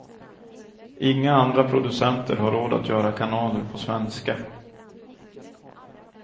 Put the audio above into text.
Inga andra producenter har råd att göra kanaler på svenska.